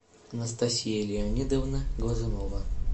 анастасия леонидовна глазунова